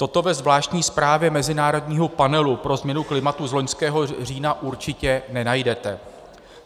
Toto ve zvláštní zprávě mezinárodního panelu pro změnu klimatu z loňského října určitě nenajdete.